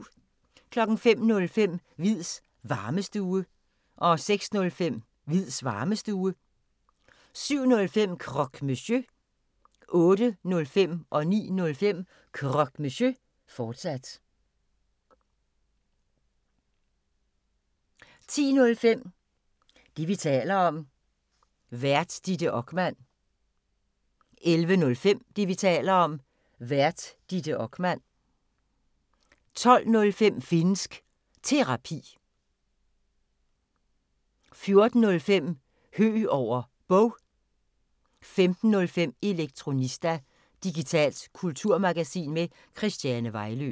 05:05: Hviids Varmestue 06:05: Hviids Varmestue 07:05: Croque Monsieur 08:05: Croque Monsieur, fortsat 09:05: Croque Monsieur, fortsat 10:05: Det, vi taler om. Vært: Ditte Okman 11:05: Det, vi taler om. Vært: Ditte Okman 12:05: Finnsk Terapi 14:05: Høeg over Bog 15:05: Elektronista – digitalt kulturmagasin med Christiane Vejlø